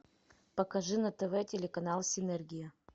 покажи на тв телеканал синергия